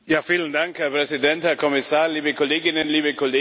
Herr Präsident, Herr Kommissar, liebe Kolleginnen, liebe Kollegen!